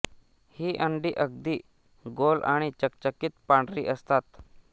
ही अंडी अगदी गोल आणि चकचकीत पांढरी असतात